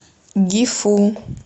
гифу